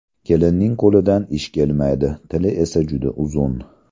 Kelinning qo‘lidan ish kelmaydi, tili esa juda uzun.